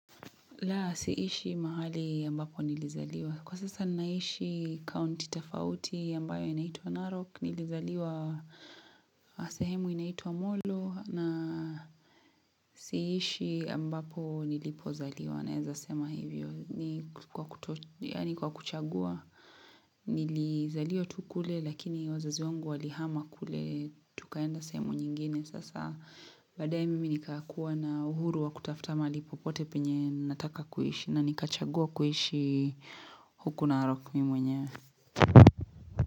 La, siishi mahali ambapo nilizaliwa. Kwa sasa ninaishi county tafauti ambayo inaitwa Narok, nilizaliwa sehemu inaitwa Molo, na siishi ambapo nilipozaliwa. Naeza sema hivyo. Ni kwa kuto ni kwa kuchagua nilizaliwa tu kule lakini wazazi wangu walihama kule tukaenda sehemu nyingine sasa badaye mimi nikakua na uhuru wa kutafuta mahali popote penye nataka kuishi na nikachagua kuishi huku Narok mi mwenyewe.